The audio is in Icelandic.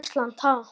Ísland, ha?